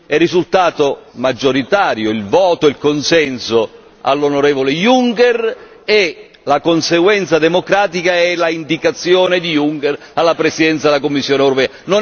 È risultato maggioritario il voto, il consenso all'onorevole Juncker e la conseguenza democratica è l'indicazione di Junker alla Presidenza della Commissione europea.